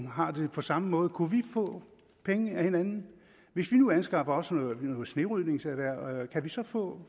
har det på samme måde kunne vi få penge af hinanden hvis vi nu anskaffer os noget snerydningsmateriel kan vi så få